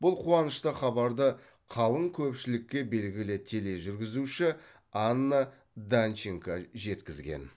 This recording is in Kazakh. бұл қуанышты хабарды қалың көпшілікке белгілі тележүргізуші анна данченко жеткізген